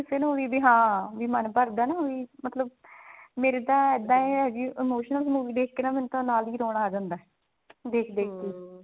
ਕਿਸੇ ਨੂੰ ਵੀ ਹਾਂ ਵੀ ਮਨ ਭਰਦਾ ਨਾ ਵੀ ਮੇਰੇ ਤਾਂ ਇੱਦਾਂ ਹੈ ਜੀ emotional movie ਦੇਖ ਕੇ ਮੈਨੂੰ ਨਾਲ ਦੀ ਨਾਲ ਰੋਣਾ ਆ ਜਾਂਦਾ ਦੇਖ ਦੇਖ